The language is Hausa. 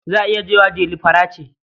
Za a iya cewa Dela fara ce.